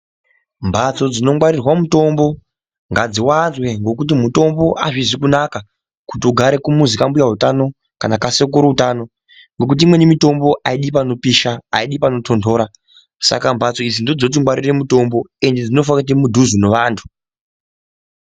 Mbatso dzinongwarira mitombo ngadziwanzwe ngekuti mitombo azvisi kunaka kuti ugare pamuzi kwambuya utano kana kwasekuru utano ngekuti imweni mitombo aidi panopisha aidi panotondora saka mbatso idzi ndodzongwarira mitombo ende dzofana kuenda mudhuze mevantu.